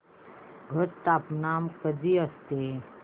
घट स्थापना कधी असते